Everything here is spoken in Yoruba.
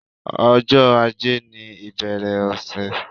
Ọjọ́ ajé ni ìbẹ̀rẹ̀ ọ̀sẹ̀.